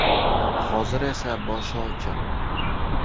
Hozir esa boshi ochiq.